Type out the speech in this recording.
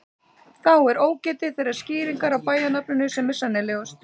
Þá er ógetið þeirrar skýringar á bæjarnafninu sem er sennilegust.